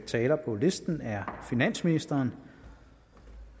taler på listen er finansministeren